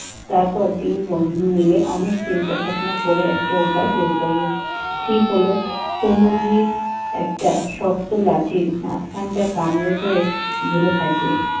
তারপর তিন বন্ধু মিলে অনেক চিন্তা ভাবনা করে একটা উপায় বের করলো। ঠিক হল, কুম্ভকিত একটা শক্ত লাঠির মাঝখানটা কামড়ে ধরে ঝুলে থাকবে।